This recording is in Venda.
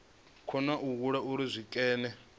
kona u alula uri zwikene